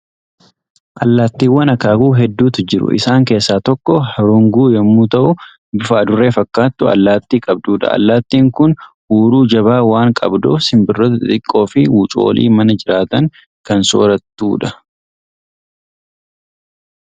Allaattiiwwan akaakuu hedduutu jiru. Isaan keessaa tokko hurunguu yommuu ta'u, bifa adurree fakkaatu allaatti qabdudha. Allaattiin kun huuruu jabaa waan qabduuf, simbirroota xixiqqoo fi wucoolii mana jiraatan kan soorattu dha.